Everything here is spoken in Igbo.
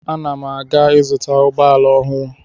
Ana m aga ịzụta ụgbọala ọhụrụ.